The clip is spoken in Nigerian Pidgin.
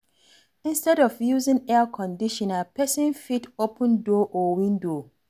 Instead of using Air Conditioner, person fit open door and window